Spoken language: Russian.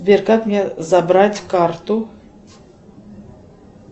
сбер как мне забрать карту